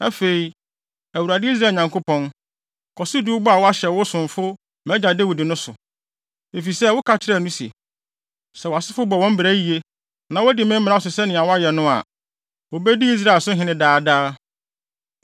“Afei, Awurade, Israel Nyankopɔn kɔ so di wo bɔ a woahyɛ wo somfo, mʼagya Dawid, no so. Efisɛ, woka kyerɛɛ no se, ‘Sɛ wʼasefo bɔ wɔn bra yiye, na wodi me mmara so sɛnea woayɛ no a, wobedi Israel so hene daa daa.’